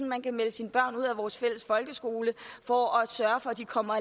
man kan melde sine børn ud af vores fælles folkeskole for at sørge for at de kommer